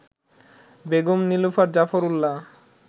Begum Nilufar Zafar Ullah